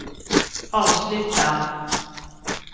avsluta